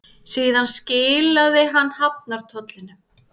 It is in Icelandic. Síðan skilaði hann hafnartollinum.